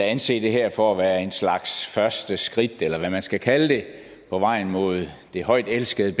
anse det her for at være en slags første skridt eller hvad man skal kalde det på vejen mod det højt elskede